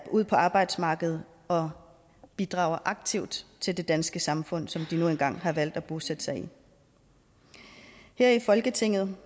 ud på arbejdsmarkedet og bidrager aktivt til det danske samfund som de nu engang har valgt at bosætte sig i her i folketinget